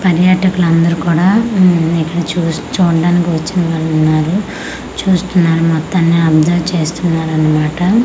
పర్యాటకులు అందరూ కూడా ఇక్కడ చూ చూడ్డా నికి వచ్చినవాళ్లు ఉన్నారు చూస్తున్నారు మొత్తాన్ని అబ్సర్వ్ చేస్తున్నారు అన్నమాట--